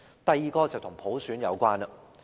第二，是與普選有關。